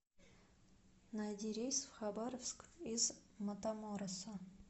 найди рейс в хабаровск из матамороса